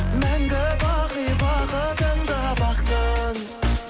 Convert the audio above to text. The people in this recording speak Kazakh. мәңгі бақи бақытында бақтың